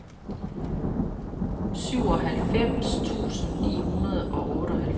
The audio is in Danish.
syvoghalvfems tusind ni hundrede og otteoghalvfems